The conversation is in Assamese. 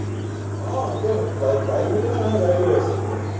অ, এতিয়া bike, bike দি কেনে মানুহে গাড়ী লৈ আছে এতিয়া,